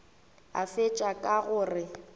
a fetša ka go re